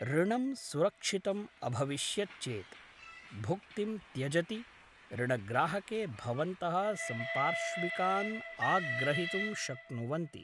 ऋणं सुरक्षितम् अभविष्यत् चेत् भुक्तिं त्यजति ऋणग्राहके भवन्तः सम्पार्श्विकान् आग्रहितुं शक्नुवन्ति